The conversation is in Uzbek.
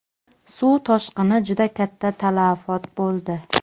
Suv toshqini juda katta talafot bo‘ldi.